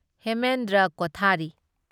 Hemendra Kothari